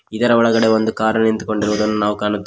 ಇದರ ಒಳಗೆ ಒಂದು ಕಾರ್ ನಿಂತುಕೊಂಡಿರುವುದನ್ನ ನಾವು ಕಾಣುತ್ತೇ --